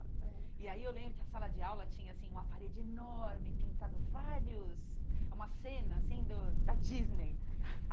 E aí eu lembro que a sala de aula tinha, assim, uma parede enorme, pintado vários, uma cena, assim, do da Disney.